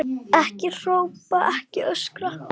Ekki hrópa, ekki öskra!